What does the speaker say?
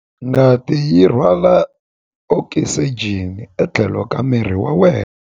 Ngati yi rhwala okisijeni etlhelo ka miri wa wena.